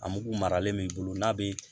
A mugu maralen b'i bolo n'a be